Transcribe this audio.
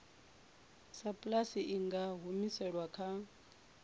sapulasi i nga humiselwa kha